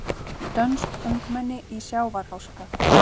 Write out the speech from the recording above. Dönsk ungmenni í sjávarháska